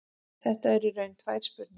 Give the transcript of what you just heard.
Þetta eru í raun tvær spurningar.